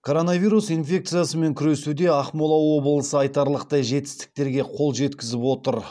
коронавирус инфекциясымен күресуде ақмола облысы айтарлықтай жетістіктерге қол жеткізіп отыр